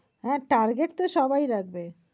আর target তো সবাই রাখবে।